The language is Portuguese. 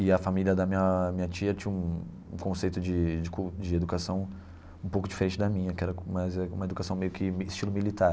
E a família da minha minha tia tinha um um conceito de de educação um pouco diferente da minha, que era mais uma educação meio que estilo militar.